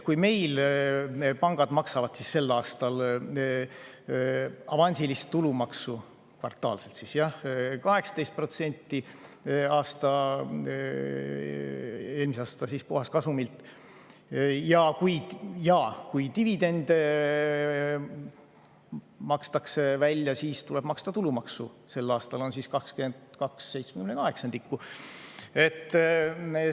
Meil pangad maksavad sel aastal avansilist tulumaksu, kvartaalselt, 18% eelmise aasta puhaskasumilt ja kui dividende makstakse välja, siis tuleb neil maksta tulumaksu, sel aastal on 22/78.